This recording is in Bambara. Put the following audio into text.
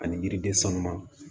Ani yiriden sanuma